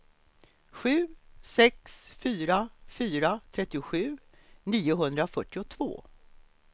sju sex fyra fyra trettiosju niohundrafyrtiotvå